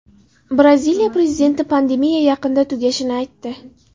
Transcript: Braziliya prezidenti pandemiya yaqinda tugashini aytdi.